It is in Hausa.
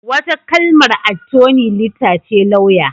Wata kalmar Attoni lita ce lauya.